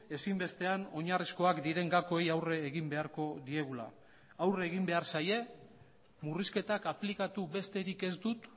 ezinbestean oinarrizkoak diren gakoei aurre egin beharko diegula aurre egin behar zaie murrizketak aplikatu besterik ez dut